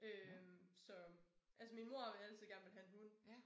Øh så altså min mor har altid gerne villet have en hund